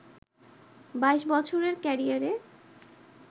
২২ বছরের ক্যারিয়ারে